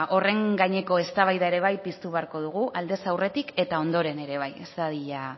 horren gaineko eztabaida ere piztu beharko dugu aldez aurretik eta ondoren ere bai ez dadila